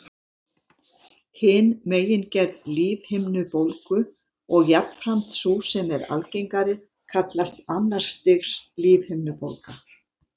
Hin megingerð lífhimnubólgu, og jafnframt sú sem er algengari, kallast annars stigs lífhimnubólga.